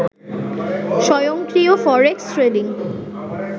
স্বয়ংক্রিয় forex trading